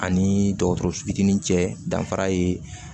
Ani dɔgɔtɔrɔso fitinin cɛ danfara ye